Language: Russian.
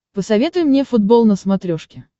посоветуй мне футбол на смотрешке